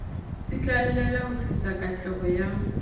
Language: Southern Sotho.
tsitlallela ho tlisa katleho ya